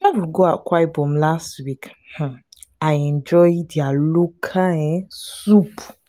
go akwa ibom last week. um i enjoy their local um soup.